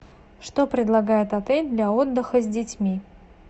что предлагает отель для отдыха с детьми